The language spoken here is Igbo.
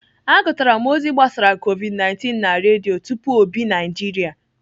Agụtara m ozi gbasara Covid19 na Redio tupu ọ bị Naijiria.